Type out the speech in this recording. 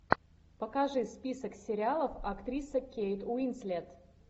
покажи список сериалов актриса кейт уинслет